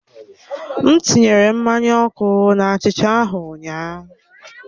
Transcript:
M tinyere mmanya ọkụ na achicha ahụ ụnyaahụ.